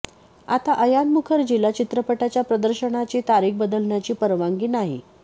आता अयान मुखर्जीला चित्रपटाच्या प्रदर्शनाची तारीख बदलण्याची परवानगी नाही